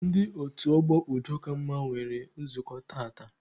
Ndị otu ọgbọ udo ka mma nwere nzukọ tata.